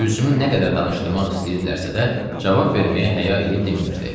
Gülsümün nə qədər danışdırmaq istəyirdilərsə də, cavab verməyə həya eləyib demirdi.